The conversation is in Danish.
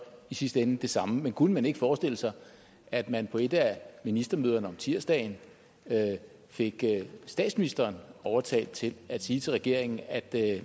i sidste ende det samme kunne man ikke forestille sig at man på et ministermøde om tirsdagen fik statsministeren overtalt til at sige til regeringen at